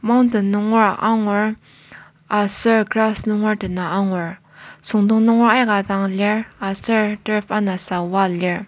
Mountain nungera angur aser grass nunger dena angur süngdong nunger aika dang lir aser turf anasa wall lir.